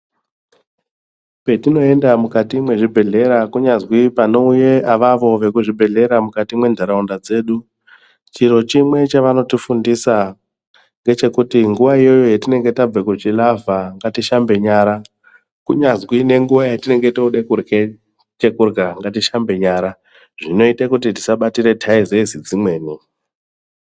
Petinoenda mukati mwezvibhedhleya kunyazwi panouye avavo vekuzvibhedhlera mukati menharaunda dzedu , chiro chimwe chavanotifundisa ngechekuti nguwa iyoyo yatinenge tabve kuchilavha , ngatishambe nyara kunyazwi nenguwa yatinenge tode kurye chekurya ngatishambe nyara zvinoite kuti tisabatire taizezi dzimweni.